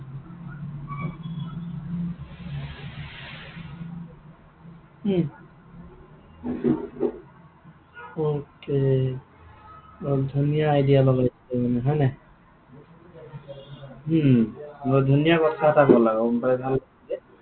উম okay বৰ ধুনীয়া idea লগাইছে মানে হয় নাই? হম বৰ ধুনীয়া কথা এটা কলা গম পাইছা নে?